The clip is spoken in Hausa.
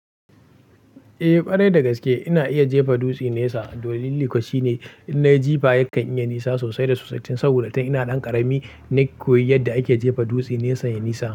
Eh, ƙwarai dagaske ina iya jefa dutse nesa. Dalilin kawai shine innai jifa yakan iya nesa sosai da sosai tun saboda tun ina ɗan ƙarami na koyi yadda ake jefa dutse nesa ya nisa.